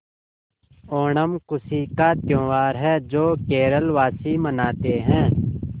ओणम खुशी का त्यौहार है जो केरल वासी मनाते हैं